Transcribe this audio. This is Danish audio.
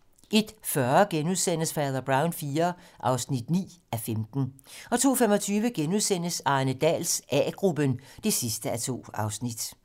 01:40: Fader Brown IV (9:15)* 02:25: Arne Dahls A-gruppen (2:2)*